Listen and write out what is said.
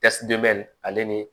ale ni